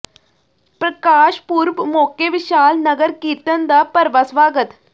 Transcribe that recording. ਪ੍ਰਕਾਸ਼ ਪੁਰਬ ਮੌਕੇ ਵਿਸ਼ਾਲ ਨਗਰ ਕੀਰਤਨ ਦਾ ਭਰਵਾਂ ਸਵਾਗਤ